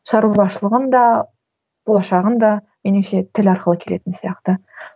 шаруашылығын да болашағын да меніңше тіл арқылы келетін сияқты